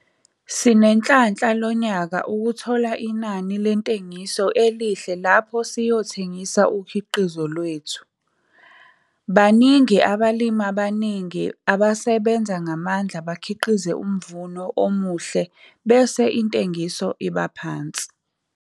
Sinenhlanhla lo nyaka ukuthola inani lentengiso elihle lapho siyothengisa ukhiqizo wethu. Kaningi abalimi abaningi basebenza ngamandla bakhiqize umvuno omuhle bese intengiso iphansi.